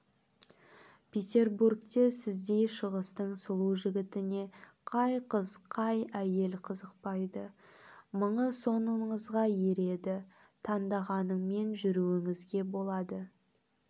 петербургте сіздей шығыстың сұлу жігітіне қай қыз қай әйел қызықпайды мыңы соңыңызга ереді таңдағаныңмен жүруіңізге болады